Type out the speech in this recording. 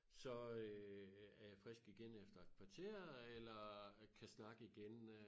Så øh er jeg frisk igen efter et kvarter eller kan snakke igen øh